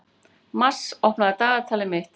Mars, opnaðu dagatalið mitt.